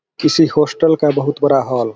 किसी हॉस्टल का बहुत बड़ा हॉल --